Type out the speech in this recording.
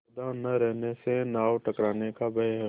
सावधान न रहने से नाव टकराने का भय है